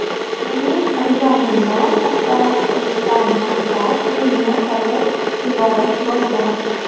Mening imzoyimni soxtalashtirishdan maqsad uyimni sotib yuborish bo‘lgan.